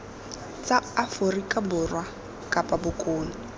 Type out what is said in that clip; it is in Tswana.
tsa aforika borwa kapa bokone